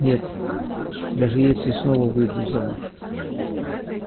нет даже если снова выйду замуж